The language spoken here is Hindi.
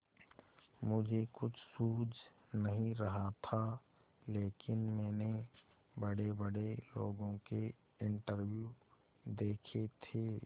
मुझे कुछ सूझ नहीं रहा था लेकिन मैंने बड़ेबड़े लोगों के इंटरव्यू देखे थे